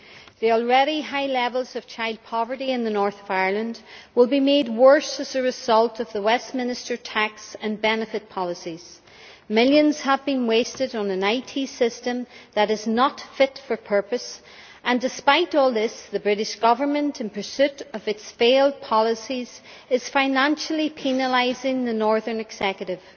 The already high levels of child poverty in the North of Ireland will be made worse as a result of the Westminster tax and benefit policies. Millions have been wasted on an IT system that is not fit for purpose, and despite all this the British Government, in pursuit of its failed policies, is financially penalising the Northern Executive.